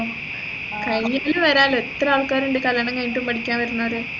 കഴിഞ്ഞിട്ടും വരന്റെ എത്രൽക്കാറുണ്ട് കല്യാണം കഴിഞ്ഞിട്ടും പഠിക്കാൻ വരുന്നവര്